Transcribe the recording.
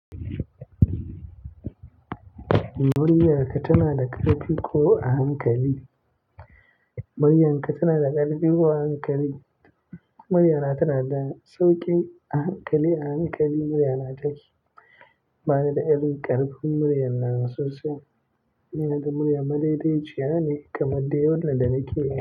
Muryarka tana da ƙarfi ko a hankali? Muryarka tana da ƙarfi ko a hankali? Muryana tana da sauƙi ahankali-ahankali muryana take. Bani da irin ƙarfin muryar nan sosai. Ina da murya madaidai ciyane kamar dai wannan da nake yi.